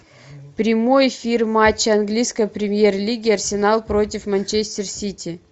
прямой эфир матча английской премьер лиги арсенал против манчестер сити